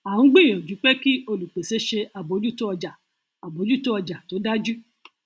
à ń gbìyànjú pé kí olùpèsè ṣe àbójútó ọjà àbójútó ọjà tó dájú